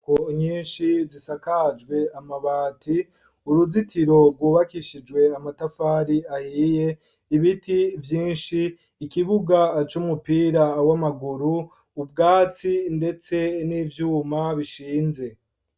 Inyubako nyinshi zisakajwe amabati, uruzitiro rwubakishijwe amatafari ahiye ,ibiti vyinshi ,ikibuga c'umupira w'amaguru, ubwatsi ndetse n'ivyuma bishinze.